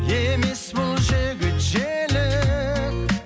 емес бұл жігіт желік